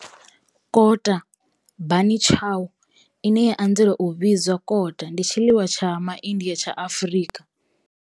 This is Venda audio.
Kota, bunny chow, ine ya anzela u vhidzwa kota, ndi tshiḽiwa tsha MaIndia tsha Afrika.